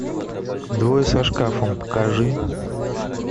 двое со шкафом покажи